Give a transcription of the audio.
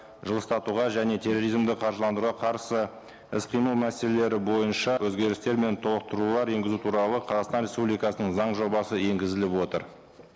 жылыстатуға және терроризмді қаржыландыруға қарсы іс қимыл мәселелері бойынша өзгерістер мен толықтырулар енгізу туралы қазақстан республикасының заң жобасы енгізіліп отыр